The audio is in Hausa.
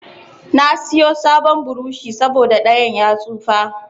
Na siyo sabon burushi saboda ɗayan ya tsufa.